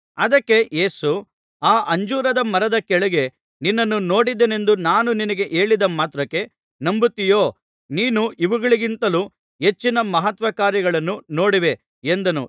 ಅದಕ್ಕೆ ಯೇಸು ಆ ಅಂಜೂರದ ಮರದ ಕೆಳಗೆ ನಿನ್ನನ್ನು ನೋಡಿದೆನೆಂದು ನಾನು ನಿನಗೆ ಹೇಳಿದ ಮಾತ್ರಕ್ಕೆ ನಂಬುತ್ತೀಯೋ ನೀನು ಇವುಗಳಿಗಿಂತಲೂ ಹೆಚ್ಚಿನ ಮಹತ್ಕಾರ್ಯಗಳನ್ನು ನೋಡುವೆ ಎಂದನು